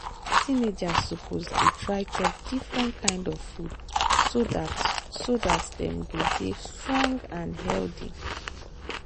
teenagers suppose dey try chop different kind of food so dat so dat dem go dey strong and healthy.